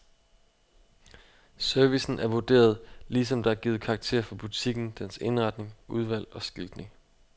Servicen er vurderet, ligesom der er givet karakterer for butikken, dens indretning, udvalg og skiltning.